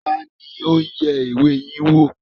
Ta ni ó yẹ ìwé yín wò?